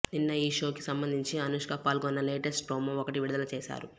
నిన్న ఈ షోకి సంబంధించి అనుష్క పాల్గొన్న లేటెస్ట్ ప్రోమో ఒకటి విడుదల చేశారు